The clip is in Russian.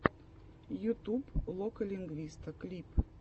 ютуб лока лингвиста клип